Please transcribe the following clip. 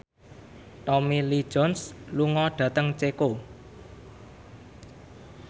Tommy Lee Jones lunga dhateng Ceko